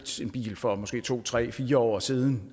bil for måske to tre fire år siden